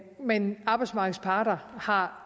men arbejdsmarkedets parter har